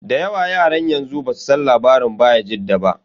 Da yawa yaran yanzu basu san labarin bayajidda ba.